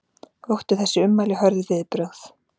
Vöktu þessi ummæli hörð viðbrögð